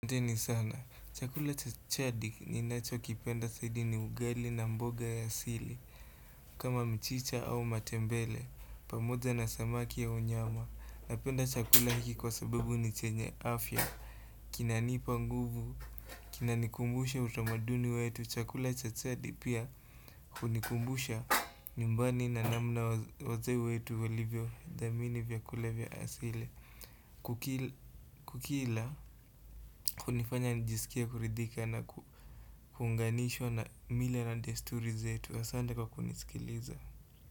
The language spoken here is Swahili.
Asanteni sana, chakula cha jadi ni nachokipenda caidi ni ugali na mboga ya asili kama mchicha au matembele, pamoja na samaki au nyama Napenda chakula hiki kwa sababu ni chenye afya kinanipa nguvu, kinanikumbusha utomaduni wetu Chakula cha chadi pia hunikumbusha nyumbani na namna waze wetu walivyo dhamini vya kule vya asili kukila kunifanya nijisikie kuridhika na kuunganishwa na mila na desturi zetu asante kwa kunisikiliza.